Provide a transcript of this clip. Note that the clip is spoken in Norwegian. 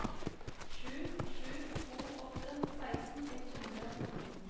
sju sju to åtte seksten ett hundre og nitten